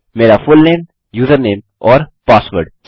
मेरा full name username और password सही हैं